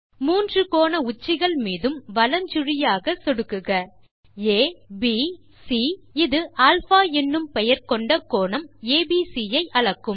மூன்று கோண உச்சிகள் மீதும் வலஞ்சுழியாக ஆக சொடுக்குக aப் பின் சி இது அல்பா என்னும் பெயர் கொண்ட கோணம் ஏபிசி ஐ அளக்கும்